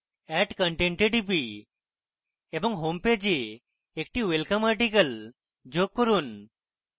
add content a টিপি এবং homepage a একটি ওয়েলকাম article যোগ করুন